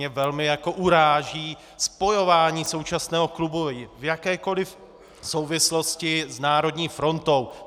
Mě velmi uráží spojování současného klubu v jakékoliv souvislosti s Národní frontou!